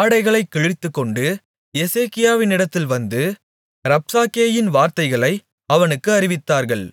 ஆடைகளைக் கிழித்துக்கொண்டு எசேக்கியாவினிடத்தில் வந்து ரப்சாக்கேயின் வார்த்தைகளை அவனுக்கு அறிவித்தார்கள்